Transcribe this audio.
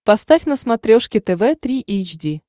поставь на смотрешке тв три эйч ди